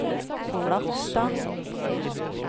Flakstad